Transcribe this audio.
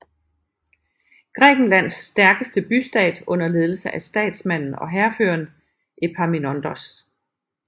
Grækenlands stærkeste bystat under ledelse af statsmanden og hærføreren Epaminondas